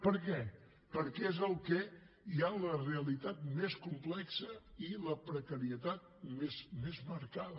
per què perquè són en els que hi ha la realitat més complexa i la precarietat més marcada